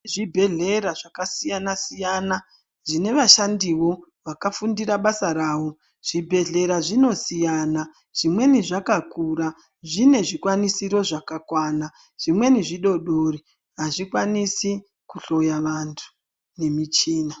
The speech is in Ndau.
Zvibhedhlera zvakasiyana siyana Zvine vashandiwo vakafundira basa rawo zvibhedhlera zvinosiyana zvimweni zvakakura zvine zvikwanisoro zvakakwana zvimweni zvidodori azvikwanisi kuhloya vantu nemuchina.